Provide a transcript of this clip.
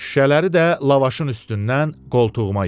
Şüşələri də lavaşın üstündən qoltuğuma yığdı.